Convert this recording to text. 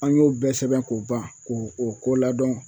An y'o bɛɛ sɛbɛn k'o ban k'o o ko ladɔn